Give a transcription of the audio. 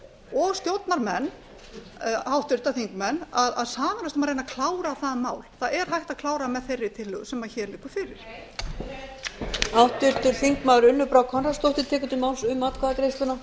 og stjórnarmenn háttvirtir þingmenn að sameinast um að reyna að klára það mál það er hægt að klára með þeirri tillögu sem hér liggur fyrir nei